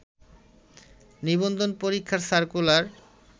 নিবন্ধন পরীক্ষার সার্কুলার